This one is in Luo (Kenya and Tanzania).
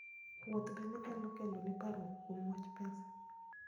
Wuoth bende nyalo keloni parruok kuom wach pesa.